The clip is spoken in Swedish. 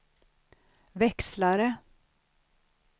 växlare